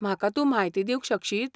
म्हाका तूं म्हायती दिवंक शकशीत?